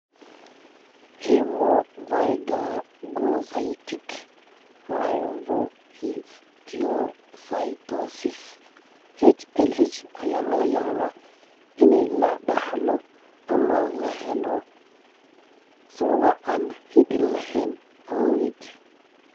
Hemophagocytic lymphohistiocytosis (HLH) ayaa laga yaabaa in la dhaxlo ama la helo (sababo aan hidde lahayn awgeed).